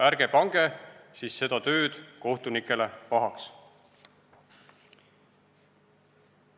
" Ärge pange siis seda tööd kohtunikele pahaks.